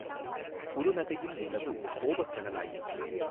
குறுநகையின் நிலவு கோபக் கனலாயிற்று.